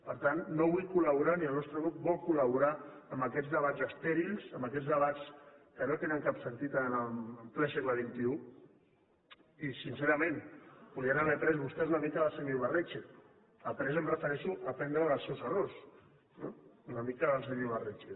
per tant no vull col·laborar ni el nostre grup vol collaborar en aquests debats estèrils en aquests debats que no tenen cap sentit en ple segle podien haver après vostès una mica del senyor ibarretxe amb après em refereixo a aprendre dels seus errors una mica del senyor ibarretxe